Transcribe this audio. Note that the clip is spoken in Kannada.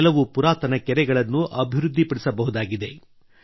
ಕೆಲವು ಪುರಾತನ ಕೆರೆಗಳನ್ನು ಅಭಿವೃದ್ಧಿಪಡಿಸಬಹುದಾಗಿದೆ